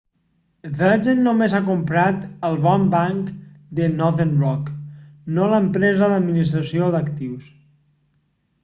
virgin només ha comprat el bon banc' de northern rock no l'empresa d'administració d'actius